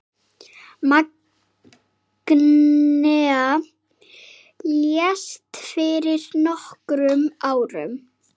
Magnea lést fyrir nokkrum árum.